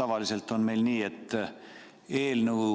Tavaliselt on meil nii, et eelnõu